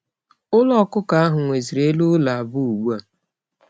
Ulo okuko ahu nweziri elu ulo abuo ugbu a.